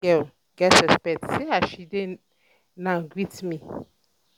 dat girl get respect see as she dey now greet me